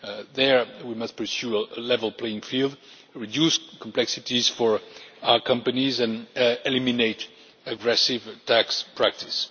There, we must pursue a level playing field, reduce complexities for our companies and eliminate aggressive tax practices.